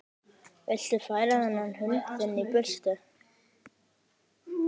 Viltu færa þennan hund þinn í burtu!